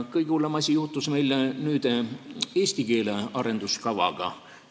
Kõige hullem asi juhtus meil eesti keele arengukavaga.